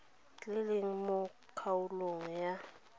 le leng mo kgaolong ya